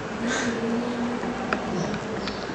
ũreciria nĩa mekũhota ũmũthĩ?